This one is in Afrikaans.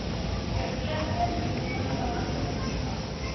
verpligte minimum behandelingsvlak